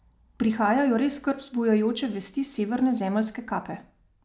Prihajajo res skrb vzbujajoče vesti s severne zemeljske kape.